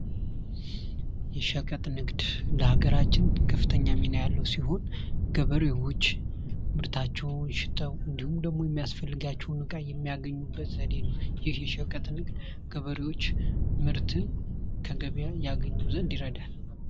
የሸቀጥ ንግደ ለሀገራችን ከፍተኛ ሚና ያለው ሲሆን ገበሬዎች ምርታቸውን ሽጠው እንዲሁም ደግሞ የሚያስፈልጋቸውን ዕቃ የሚያገኙበት ዘዴ ነው:: ይህ የሸቀጥ ንግድ ገበሬዎች ምርትን ከገበያ ያገኙ ዘንድ ይረዳል::